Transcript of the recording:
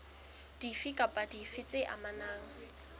dife kapa dife tse amanang